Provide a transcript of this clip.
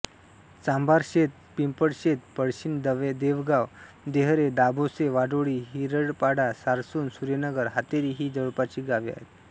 चांभारशेत पिंपळशेत पळशीण देवगाव देहरे दाभोसे वाडोळी हिरडपाडा सारसुण सुर्यनगर हातेरी ही जवळपासची गावे आहेत